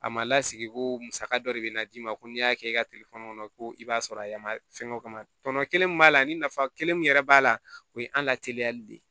A ma lasigi ko musaka dɔ de bɛna d'i ma ko n'i y'a kɛ i ka kɔnɔ ko i b'a sɔrɔ a yɛlɛma fɛn o fɛn ma tɔnɔ kelen min b'a la ani nafa kelen min yɛrɛ b'a la o ye an lateliyali de ye